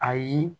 Ayi